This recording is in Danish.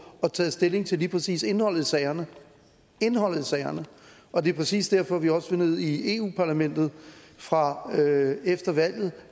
og taget stilling til lige præcis indholdet i sagerne indholdet i sagerne og det er præcis derfor vi også vil ned i eu parlamentet fra efter valget